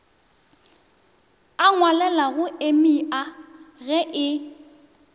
a ngwalelago emia ge e